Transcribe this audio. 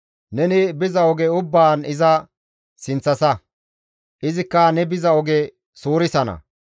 Neni biza oge ubbaan iza sinththasa; izikka ne biza oge suurisana.